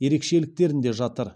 ерекшеліктерінде жатыр